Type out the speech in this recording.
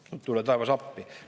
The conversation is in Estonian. No tule taevas appi!